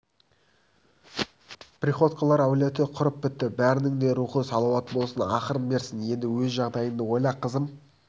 приходьколар әулеті құрып бітті бәрінің де рухы салауат болсын ақырын берсін енді өз жағдайыңды ойла қызым